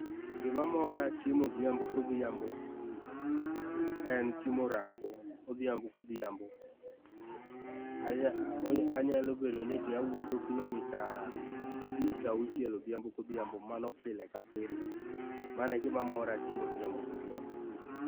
Gima mora timo odhiambo kodhiambo, en timo orako odhiambo kodhiambo. Anyalo bedo ni eti awuotho kilomita abich auchiel odhiambo kodhiambo mano pile ka pile. Mano e gima mora timo odhiambo kodhiambo.